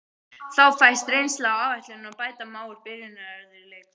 Þá fæst reynsla á áætlunina og bæta má úr byrjunarörðugleikum.